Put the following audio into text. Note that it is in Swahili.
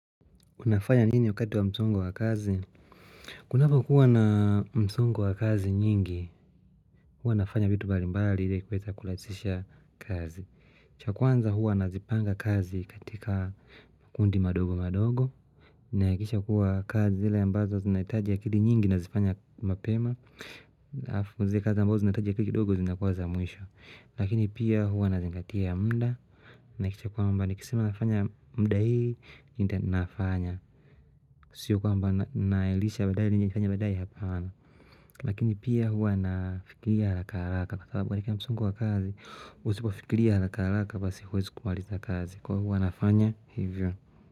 Unafanya nini wakati wa msongo wa kazi? Kunapokuwa na msongo wa kazi nyingi, huwa nafanya vitu balimbali ili kuweza kurahisisha kazi. Cha kwanza huwa nazipanga kazi katika kundi madogo madogo. Ninahakikisha kuwa kazi zile ambazo zinahitajia akili nyingi ninazifanya mapema. Na zile kazi ambazo zinahitaji akili kidogo zinakuwa za mwisho. Lakini pia huwa nazingatia mda. Ninahakikisha kwamba nikisema nafanya mda hii, ndio ni nafanya. Siyo kwamba naelisha baadae nije kufanya baadae hapana. Lakini pia huwa nafikiria haraka haraka kwa sababu ya msongo wa kazi. Usipo kufikiria haraka haraka basi huwezu kumaliza kazi kwa hiyo huwa nafanya hivyo.